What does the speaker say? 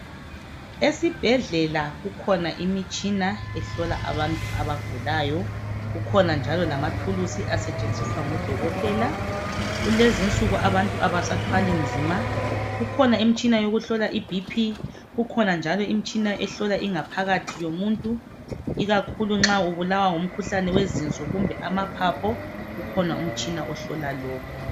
Esibhedlela kukhona imitshina ehlola abantu abagulayo kukhona njalo lamathulusi asetshenziswa ngodokotela kulezi insuku abantu abasathwali nzima kukhona imitshina yokuhlola iBP kukhona njalo imtshina ehlola ingaphakathi yomuntu ikakhulu nxa ubulawa ngumkhuhlane weziso kumbe amaphaphu ukhona umtshina ohlola lokho.